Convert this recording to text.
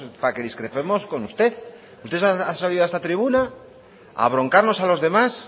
para que discrepemos con usted usted ha salido a esta tribuna a abroncarnos a los demás